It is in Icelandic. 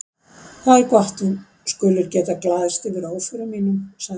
Það er gott að þú skulir geta glaðst yfir óförum mínum, sagði Sveinn.